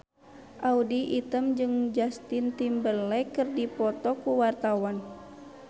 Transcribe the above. Audy Item jeung Justin Timberlake keur dipoto ku wartawan